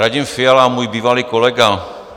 Radim Fiala, můj bývalý kolega.